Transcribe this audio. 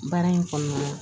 Baara in kɔnɔna na